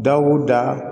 Dawuda